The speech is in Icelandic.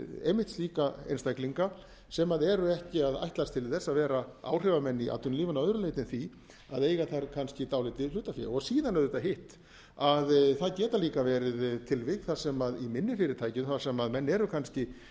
einmitt slíka einstaklinga sem eru ekki að ætlast til þess að vera áhrifamenn í atvinnulífinu að öðru leyti en því að eiga þar kannski dálítið hlutafé síðan auðvitað hitt að það geta líka verið tilvik þar sem í minni fyrirtækjum þar sem menn eru kannski